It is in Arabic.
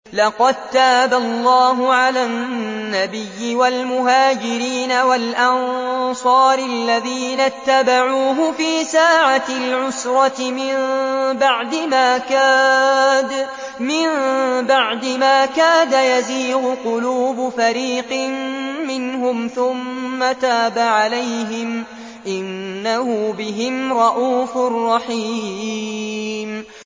لَّقَد تَّابَ اللَّهُ عَلَى النَّبِيِّ وَالْمُهَاجِرِينَ وَالْأَنصَارِ الَّذِينَ اتَّبَعُوهُ فِي سَاعَةِ الْعُسْرَةِ مِن بَعْدِ مَا كَادَ يَزِيغُ قُلُوبُ فَرِيقٍ مِّنْهُمْ ثُمَّ تَابَ عَلَيْهِمْ ۚ إِنَّهُ بِهِمْ رَءُوفٌ رَّحِيمٌ